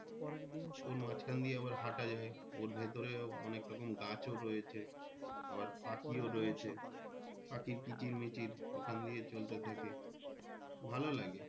ওর মাঝখান দিয়ে আবার হাঁটা যায়। ওর ভেতরেও অনেক রকম গাছও রয়েছে আবার পাখিও রয়েছে। পাখির কিচির মিচির ওখান দিয়ে চলতে থাকে ভালো লাগে।